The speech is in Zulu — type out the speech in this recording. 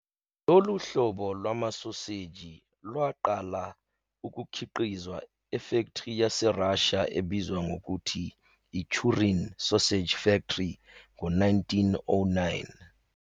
Lolu hlobo lwamasoseji lwaqala ukukhiqizwa efektri yaseRussia ebizwa ngokuthi iChurin sausage factory ngo-1909.